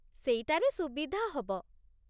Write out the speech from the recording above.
ସେଇଟାରେ ସୁବିଧା ହବ ।